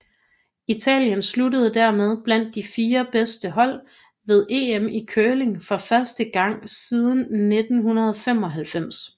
Italien sluttede dermed blandt de fire bedste hold ved EM i curling for første gang siden 1995